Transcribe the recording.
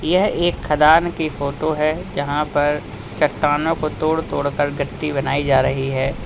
यह एक खदान की फोटो है जहां पर चट्टानों को तोड़ तोड़कर गट्टी बनाई जा रही है।